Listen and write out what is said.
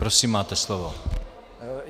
Prosím, máte slovo.